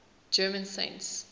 german saints